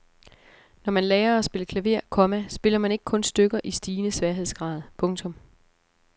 Når man lærer at spille klaver, komma spiller man ikke kun stykker i stigende sværhedsgrad. punktum